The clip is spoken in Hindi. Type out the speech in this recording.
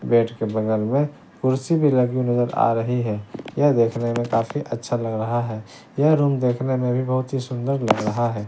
बेड के बगल में कुर्सी भी लगी नजर आ रही है यह देखने में काफी अच्छा लग रहा है यह रूम देखने में भी बहुत ही सुंदर लग रहा है।